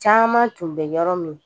Caman tun bɛ yɔrɔ min